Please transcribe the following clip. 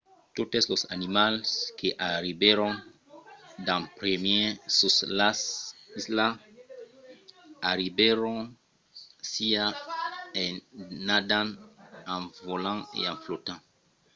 totes los animals que arribèron d'en primièr sus las islas i arribèron siá en nadant en volant o en flotant